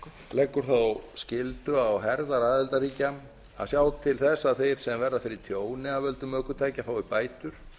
leggur þá skyldu á herðar aðildarríkja að sjá til þess að þeir sem verða fyrir tjóni af völdum ökutækja fái bætur